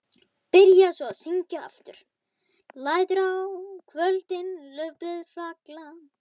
Byrjaði svo að syngja aftur: LÆTUR Á KVÖLDIN LAUFBLÖÐ FALLA.